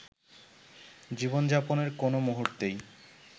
জীবনযাপনের কোনো মুহূর্তেই